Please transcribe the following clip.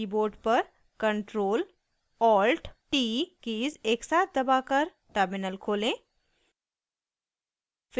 keyboard पर ctrl + alt + t keys एकसाथ दबाकर टर्मिनल खोलें